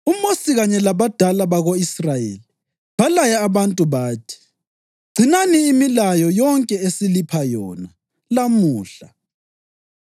UMosi kanye labadala bako-Israyeli balaya abantu bathi: “Gcinani imilayo yonke esilipha yona lamuhla.